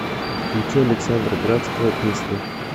включи александра градского песня